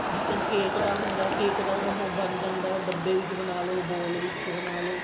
ਜੀਕਣ cake ਦਾ ਹੁੰਦਾ cake ਦਾ ਉਹ ਬਣ ਜਾਂਦਾ ਡੱਬੇ ਵਿੱਚ ਬਣਾ ਲਓ bowl ਵਿੱਚ ਬਣਾ ਲਓ